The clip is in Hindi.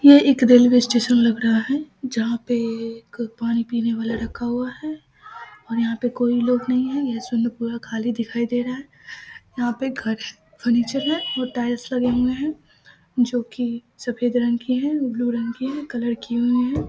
यह एक रेलवे स्टेशन लग रहा है जहाँ पे एक पानी पीने वाला रखा हुआ है और यहाँ पे कोई लोग नहीं है यह पूरा खाली दिखाई दे रहा है यहाँ पे घर और नीचे है और टाइल्स लगे हुए है जो कि सफेद रंग की है और ब्लू रंग की है कलर की हुई है ।